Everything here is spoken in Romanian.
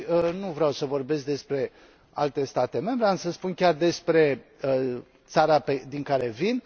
Nu vreau să vorbesc despre alte state membre, am să spun chiar despre țara din care vin.